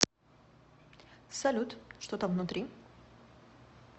салют что там внутри